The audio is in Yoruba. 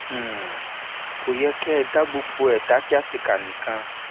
um kò yẹ kẹ ẹ dá gbogbo ẹ dá kíàtèkà nìkan